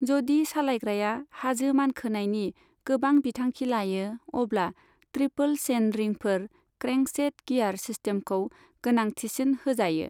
जदि सालायग्राया हाजो मानखोनायनि गोबां बिथांखि लायो, अब्ला ट्रिपल चेन रिंफोर क्रेंकसेट गियार सिस्टेमखौ गोनांथिसिन होजायो।